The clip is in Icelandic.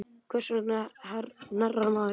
Hvers vegna hnerrar maður?